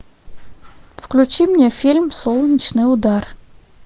включи мне фильм солнечный удар